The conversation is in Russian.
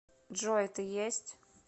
джой ты есть